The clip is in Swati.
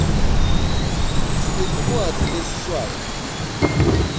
sinetincwadzi tesiswati